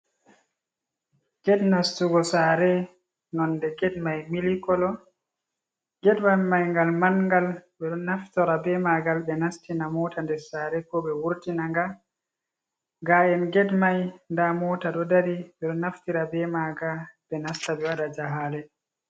Get nastugo sare, nonɗe get mai Milik kolo. get wal mai ngal manngal. Ɓe ɗo naftora ɓe magal ɓe nastina mota nɗer sare, ko ɓe wurtina nga. Ga en get mai nɗa mota ɗo ɗari. Ɓe ɗo naftira ɓe maga, ɓe nasta ɓe waɗa jahale.